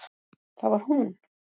Það var hún!